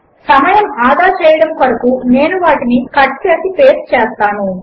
సమయము ఆదా చేయడము కొరకు నేను వాటి కట్ చేసి పేస్ట్ చేస్తాను